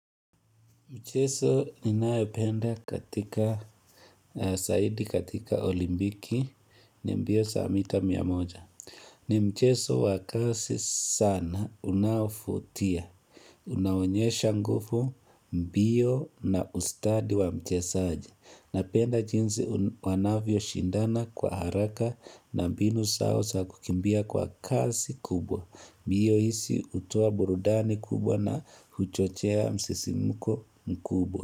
Mchezo ninayependa katika zaidi katika olimpiki ni mbio za mita mia moja. Ni mchezo wakasi sana unavutia. Unaonyesha nguvu mbio na ustadi wa mchesaji. Napenda jinzi wanavyo shindana kwa haraka na binu zao zaal kukimbia kwa kasi kubwa. Hiyo isi hutoa burudani kubwa na huchochea msisimuko mkubwa.